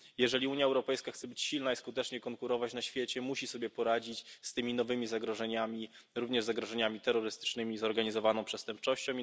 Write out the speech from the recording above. Jeżeli Unia Europejska chce być silna i skutecznie konkurować na świecie, musi sobie poradzić z tymi nowymi zagrożeniami, również zagrożeniami terrorystycznymi i zorganizowaną przestępczością.